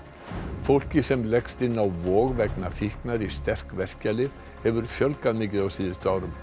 fólki sem leggst inn á Vog vegna fíknar í sterk verkjalyf hefur fjölgað mikið á síðustu árum